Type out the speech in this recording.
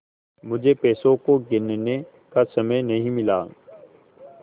मुझे पैसों को गिनने का समय नहीं मिला